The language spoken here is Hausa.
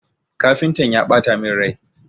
Kafintan ya ɓata min rai.